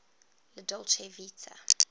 la dolce vita